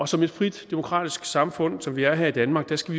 som et frit demokratisk samfund som vi er her i danmark skal